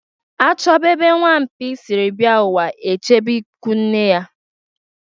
A chọba ebe nwamkpi siri bịa ụwa e jebe ikwunne ya.